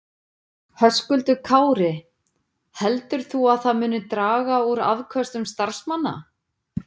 Höskuldur Kári: Heldur þú að það muni draga úr afköstum starfsmanna?